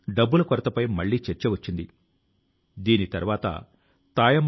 క్రమం గా ప్రజలు అందులో చేరడం సహకరించడం ప్రారంభించారు